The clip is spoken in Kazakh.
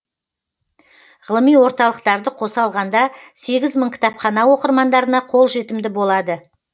ғылыми орталықтарды қоса алғанда сегіз мың кітапхана оқырмандарына қолжетімді болады